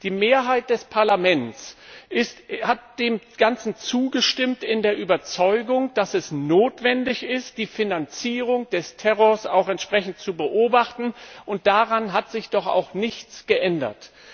Die Mehrheit des Parlaments hat dem Ganzen zugestimmt in der Überzeugung, dass es notwendig ist, die Finanzierung des Terrors auch entsprechend zu beobachten, und daran hat sich doch auch nichts geändert.